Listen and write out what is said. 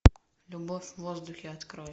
любовь в воздухе открой